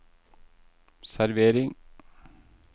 servering